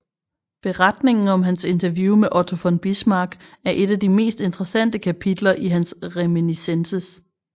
Beretningen om hans interview med Otto von Bismarck er et af de mest interessante kapitler i hans Reminiscences